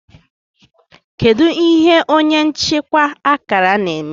kedu ihe onye nchịkwa akara na-eme